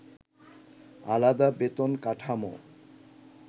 আলাদা বেতন কাঠামো